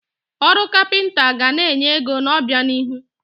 Ọrụ kapịnta ga na-enye ego n'obianihu.